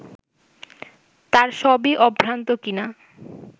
তার সবই অভ্রান্ত কিনা